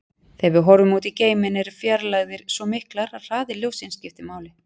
Þegar við horfum út í geiminn eru fjarlægðir svo miklar að hraði ljóssins skiptir máli.